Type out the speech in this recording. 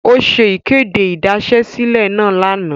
O ṣe ikede idasesile naa lana.